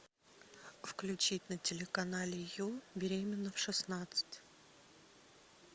включить на телеканале ю беременна в шестнадцать